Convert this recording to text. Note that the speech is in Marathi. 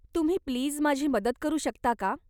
तुम्ही प्लीज माझी मदत करू शकता का?